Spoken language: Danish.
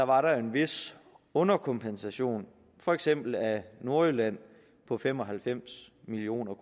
var en vis underkompensation af for eksempel nordjylland på fem og halvfems million